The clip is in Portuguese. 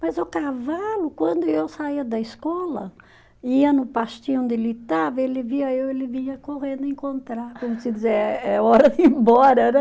Mas o cavalo, quando eu saía da escola, ia no pastinho onde ele estava, ele via eu, ele vinha correndo encontrar, como se dizia, é é hora de ir embora, né?